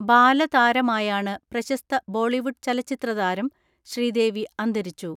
ബാലതാരമായാണ് പ്രശസ്ത ബോളിവുഡ് ചലച്ചിത്രതാരം ശ്രീദേവി അന്തരിച്ചു.